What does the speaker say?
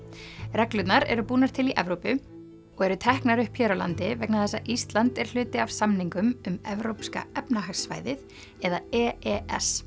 reglurnar eru búnar til í Evrópu og eru teknar upp hér á landi vegna þess að Ísland er hluti af samningum um Evrópska efnahagssvæðið eða e e s